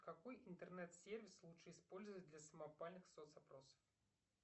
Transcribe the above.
какой интернет сервис лучше использовать для самопальных соц опросов